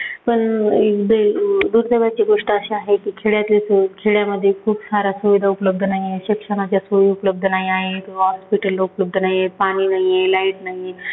पण ए गोष्ट अशी आहे की खेड्यातली सोय खेड्यामध्ये खूप साऱ्या सुविधा उपलब्ध नाहीयेत. शिक्षणाच्या सोयी उपलब्ध नाही आहेत, मग hospital उपलब्ध नाही आहे, पाणी नाहीये, light नाहीये